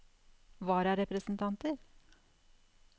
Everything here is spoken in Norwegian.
vararepresentanter